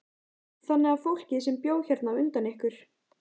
Þannig að fólkið sem bjó hérna á undan ykkur.